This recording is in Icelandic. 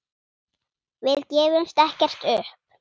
Við gefumst ekkert upp.